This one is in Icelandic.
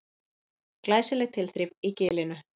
Glæsileg tilþrif í Gilinu